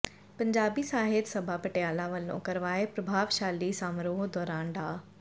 ਪੰਜਾਬੀ ਸਾਹਿਤ ਸਭਾ ਪਟਿਆਲਾ ਵੱਲੋਂ ਕਰਵਾਏ ਪ੍ਰਭਾਵਸ਼ਾਲੀ ਸਮਾਰੋਹ ਦੌਰਾਨ ਡਾ